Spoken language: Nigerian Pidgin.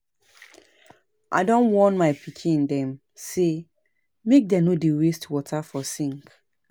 I don warn my pikin dem sey make dem no dey waste water for sink.